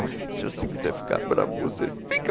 Olha, se você quiser ficar bravo você fica.